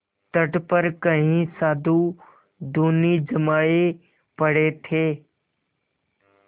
तट पर कई साधु धूनी जमाये पड़े थे